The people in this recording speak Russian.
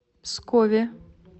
пскове